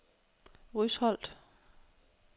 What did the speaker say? Rysholt